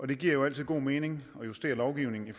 det giver jo altid god mening at justere lovgivningen i